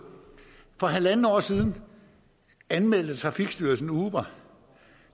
for halvandet år siden anmeldte trafikstyrelsen uber